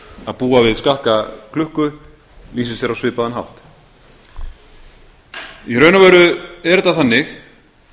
að búa við skekkja klukka lýsir sér á svipaðan hátt í raun og veru er þetta þannig